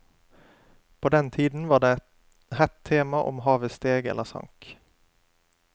På den tiden var det hett tema om havet steg eller sank.